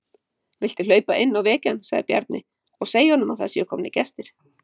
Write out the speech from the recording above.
Viltu hlaupa inn og vekja hann, sagði Bjarni,-og segja honum að það séu komnir gestir.